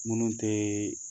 Minnu tɛ